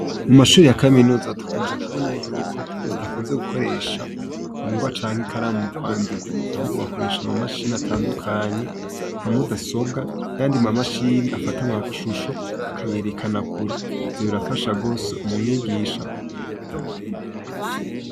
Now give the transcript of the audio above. Mu mashure ya kaminuza dukunze kubona yuko badakunze gukoresha ingwa canke ikaramu mu kwandika, ahubwo bakoresha amamashini atandukanye nka mudasobwa n'ayandi mamashini afata amashusho akayerekana kure. Ivyo birafasha rwose umwigisha.